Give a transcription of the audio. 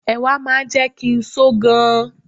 Ẹ̀wà máa ń jẹ́ kí n só gan.